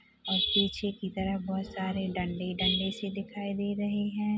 और पीछे की तरफ बहुत सारे डंडे-डंडे से दिखाई दे रहे है।